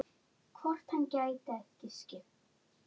Hvort hann gæti ekki skipt?